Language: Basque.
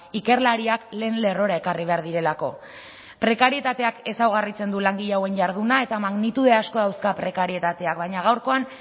ikerlariak lehen lerrora ekarri behar direlako prekarietateak ezaugarritzen du langile hauen jarduna eta magnitude asko dauzka prekarietateak baina gaurkoan